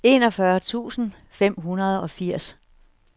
enogfyrre tusind fem hundrede og firs